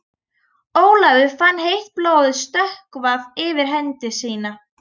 Ólafur fann heitt blóðið stökkva yfir hendi sína.